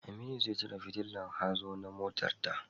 Aminu zai cire fitillar hazo na motarta.